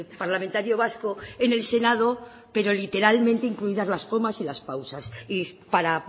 parlamentario vasco en el senado pero literalmente incluidas las comas y las pausas y para